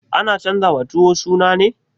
Ana canjawa tuwo suna ne?